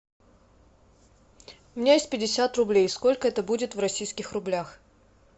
у меня есть пятьдесят рублей сколько это будет в российских рублях